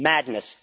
Madness!